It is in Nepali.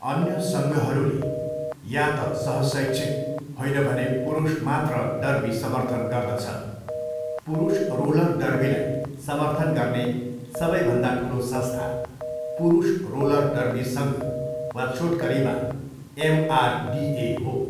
अन्य सङ्घहरूले या त सहशैक्षिक, होइन भने पुरुषमात्र डर्बी समर्थन गर्दछ, पुरुष रोलर डर्बीलाई समर्थन गर्ने सबैभन्दा ठुलो संस्था पुरुष रोलर डर्बी सङ्घ वा छोटकरीमा एमआरडिए हो।